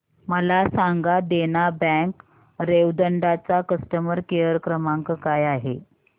मला सांगा देना बँक रेवदंडा चा कस्टमर केअर क्रमांक काय आहे